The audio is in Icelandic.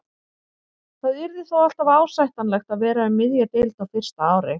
Það yrði þó alltaf ásættanlegt að vera um miðja deild á fyrsta ári.